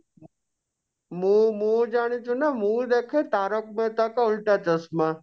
ମୁଁ ମୁଁ ଜାଣିଛୁ ନା ମୁଁ ଦେଖେ तारक मेहता का उल्टा चश्मा